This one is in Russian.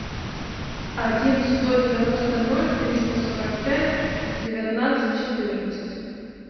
один сто девяносто ноль триста сорок пять девятнадцать четырнадцать